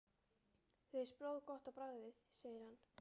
Þér finnst blóð gott á bragðið segir hann.